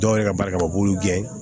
Dɔw yɛrɛ ka baarakɛ u b'u gɛn